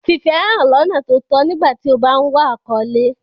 Fi ìfẹ́ hàn lọ́nà tó tọ́ nígbà tí o bá ń wá àkọ́lé.